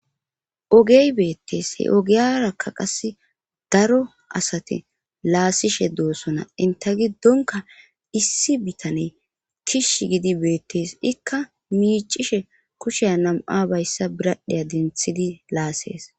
Ogey beettees he ogiyarakka qase daro asati laasishe doossona inte giddonka issi bitane kishi gidi beettees ikka miicishe kushiya nam'a bayssa biradheya denththidi laasses